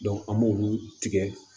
an b'olu tigɛ